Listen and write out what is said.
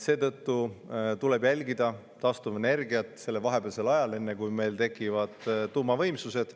Seetõttu tuleb taastuvenergiat sellel vahepealsel ajal, enne kui meil tekivad tuumavõimsused.